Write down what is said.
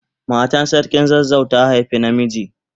Matan sarkin zazzau ta haifa na miji.